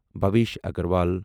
Bhavesh Agarwal